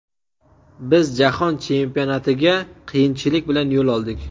Biz Jahon Chempionatiga qiyinchilik bilan yo‘l oldik.